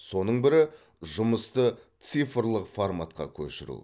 соның бірі жұмысты цифрлық форматқа көшіру